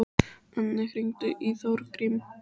Anne, hringdu í Þórgrím.